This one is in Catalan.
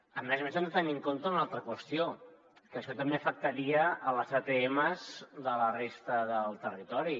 a més a més hem de tenir en compte una altra qüestió que això també afectaria les atms de la resta del territori